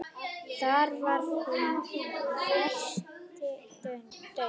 Þar var hinn versti daunn.